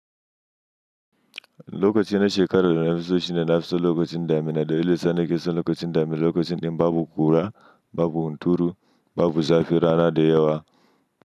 Lokacin na shekaru da na fi so shine na fi so lokacin damina da ita ne ke son lokacin dami, lokacin babu kura, babu hunturu, babu zafi rana da yawa.